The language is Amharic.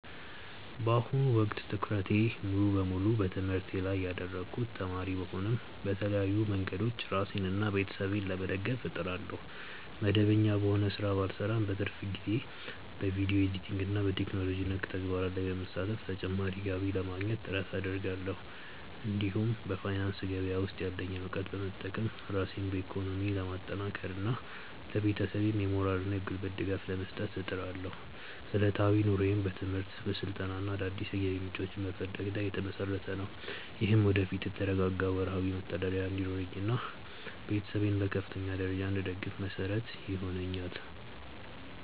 በአሁኑ ወቅት ትኩረቴን ሙሉ በሙሉ በትምህርቴ ላይ ያደረግኩ ተማሪ ብሆንም፣ በተለያዩ መንገዶች ራሴንና ቤተሰቤን ለመደገፍ እጥራለሁ። መደበኛ በሆነ ሥራ ባልሰማራም፣ በትርፍ ጊዜዬ በቪዲዮ ኤዲቲንግና በቴክኖሎጂ ነክ ተግባራት ላይ በመሳተፍ ተጨማሪ ገቢ ለማግኘት ጥረት አደርጋለሁ። እንዲሁም በፋይናንስ ገበያ ውስጥ ያለኝን እውቀት በመጠቀም ራሴን በኢኮኖሚ ለማጠናከርና ለቤተሰቤም የሞራልና የጉልበት ድጋፍ ለመስጠት እጥራለሁ። ዕለታዊ ኑሮዬም በትምህርት፣ በስልጠናና አዳዲስ የገቢ ምንጮችን በመፈለግ ላይ የተመሰረተ ነው። ይህም ወደፊት የተረጋጋ ወርሃዊ መተዳደሪያ እንዲኖረኝና ቤተሰቤን በከፍተኛ ደረጃ እንድደግፍ መሰረት ይሆነኛል።